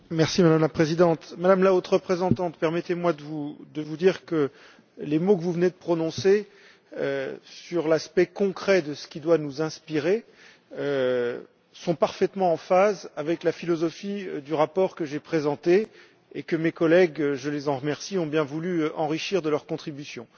Madame la Présidente, Madame la Haute représentante, permettez moi de vous dire que les mots que vous venez de prononcer sur l'aspect concret de ce qui doit nous inspirer sont parfaitement en phase avec la philosophie du rapport que j'ai présenté et que mes collègues je les en remercie ont bien voulu enrichir de leurs contributions.